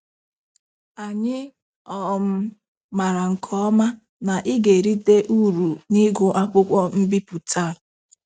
Anyị um mara nke ọma na ị ga-erite uru n'ịgụ akwụkwọ mbipụta a.